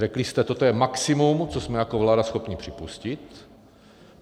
Řekli jste, toto je maximum, co jsme jako vláda schopni připustit.